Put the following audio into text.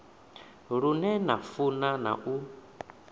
lune na funa na u